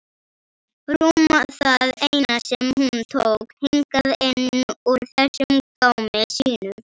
Rúm það eina sem hún tók hingað inn úr þessum gámi sínum.